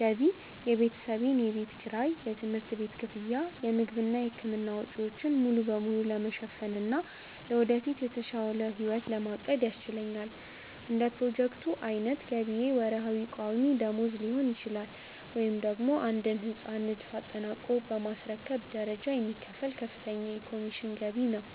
ገቢ የቤተሰቤን የቤት ኪራይ፣ የትምህርት ቤት ክፍያ፣ የምግብና የሕክምና ወጪዎችን ሙሉ በሙሉ ለመሸፈንና ለወደፊት የተሻለ ሕይወት ለማቀድ ያስችለኛል። እንደ ፕሮጀክቶቹ ዓይነት ገቢዬ ወርሃዊ ቋሚ ደመወዝ ሊሆን ይችላል፤ ወይም ደግሞ የአንድን ሕንፃ ንድፍ አጠናቆ በማስረከብ በደረጃ የሚከፈል ከፍተኛ የኮሚሽን ገቢ ነው።